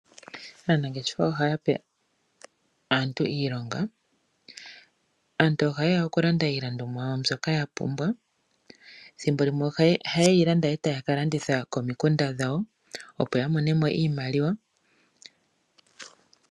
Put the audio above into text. Aantu ngaashingeyi ohayape aantu iilonga. Aantu ohayeya oku landa iilandomwa yawo mbyoka ya pumbwa . Ethimbo limwe ohayeyi landa etaya ka landitha komikunda dhawo opo yamonemo iimaliwa .